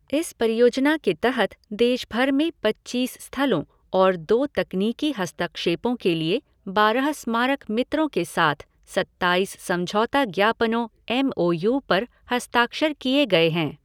इस परियोजना के तहत देशभर में पच्चीस स्थलों और दो तकनीकी हस्तक्षेपों के लिए बारह स्मारक मित्रों के साथ सत्ताइस समझौता ज्ञापनों एम ओ यू पर हस्ताक्षर किए गए हैं।